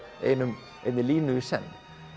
einni línu í senn